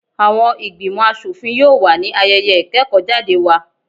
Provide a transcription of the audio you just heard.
Àwọn ìgbìmò aṣòfin yóò wà ní ayẹyẹ ìkẹ́kọ́ jáde wa.